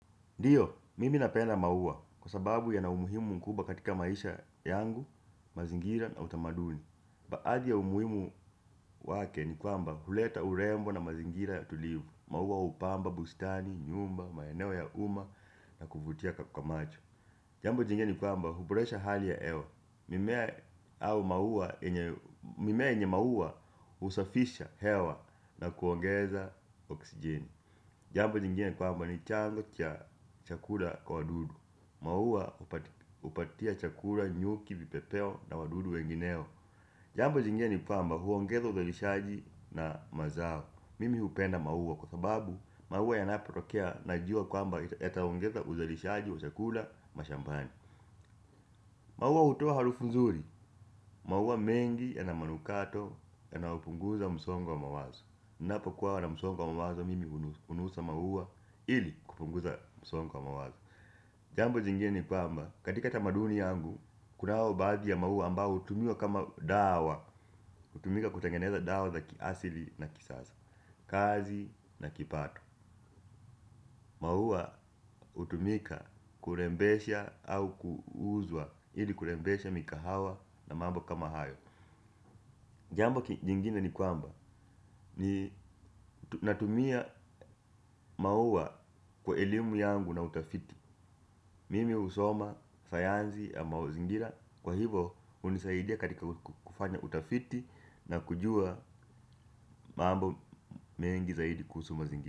Ndio, mimi napenda maua kwa sababu yana umuhimu mkubwa katika maisha yangu, mazingira na utamaduni. Baadhi ya umuhimu wake ni kwamba huleta urembo na mazingira ya tulivu, maua hupamba, bustani, nyumba, maeneo ya uma na kuvutia kwa macho. Jambo jingine ni kwamba huboresha hali ya hewa, mimea yenye maua husafisha hewa na kuongeza oksijeni. Jambo lingine ni kwamba ni chanzo cha chakula kwa wadudu. Maua huoatia chakula nyuki, vipepeo na wadudu wengineo. Jamba jingie ni kwamba huongeza uzalishaji na mazao mimi hupenda maua kwa sababu maua yanapotokea najua kwamba yataongeza uzalishaji wa chakula mashambani maua hutoa harufu nzuri maua mengi yana manukato yanapunguza msongo wa mawazo ninapo kuwa na msongo wa mawazo mimi hunusa maua ili kupunguza msongo wa mawazo jambo jingine ni kwamba, katika tamaduni yangu, kuna baadhi ya maua ambao hutumiwa kama dawa hutumika kutengeneza dawa za kiasili na kisasa, kazi na kipato maua hutumika kurembesha au kuuzwa ili kurembesha mikahawa na mambo kama hayo jambo jingina ni kwamba, natumia maua kwa elimu yangu na utafiti mimi husoma, sayansi ya mazingira kwa hivyo hunisaidia katika kufanya utafiti na kujua mambo mengi zaidi kuhusu mazingira.